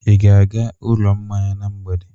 Ị ga-aga ụlọ mmanya na mgbede?